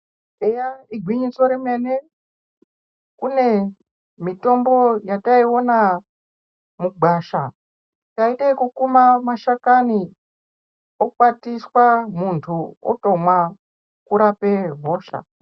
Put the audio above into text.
Eya igwinyiso remene kune mitombo yataiwona mugwasha taite yekukuma mashakani okwatiswa muntu otomwa orape hosha.